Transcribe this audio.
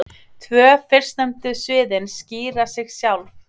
Tvö fyrstnefndu sviðin skýra sig sjálf.